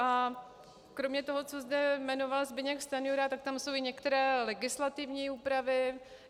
A kromě toho, co zde jmenoval Zbyněk Stanjura, tak tam jsou i některé legislativní úpravy.